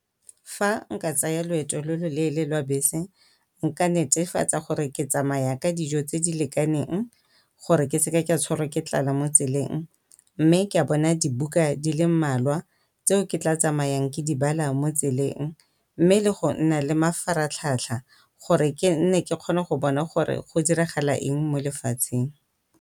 Fa nka tsaya loeto lo lo leele lwa bese nka netefatsa gore ke tsamaya ka dijo tse di lekaneng gore ke seke ka tshwarwa ke tlala mo tseleng. Mme ke a bona dibuka di le mmalwa tseo ke tla tsamayang ke di bala mo tseleng, mme le go nna le mafaratlhatlha gore ke nne ke kgona go bona gore go diragala eng mo lefatsheng.